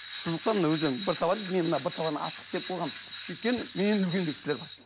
сызықтан бір табан мен мына бір табан асық істеп қойғам өйткені менен де үлкен кісілер бар